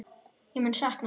Ég mun sakna hans.